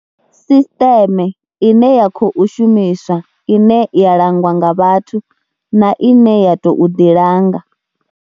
Sisṱeme ine ya khou shumiswa ine ya langwa nga vhathu na ine ya tou ḓilanga.